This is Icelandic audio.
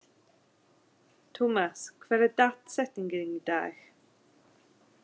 Tumas, hver er dagsetningin í dag?